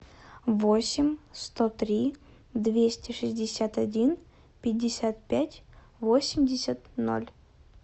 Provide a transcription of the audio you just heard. восемь сто три двести шестьдесят один пятьдесят пять восемьдесят ноль